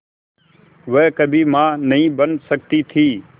वह कभी मां नहीं बन सकती थी